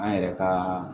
An yɛrɛ ka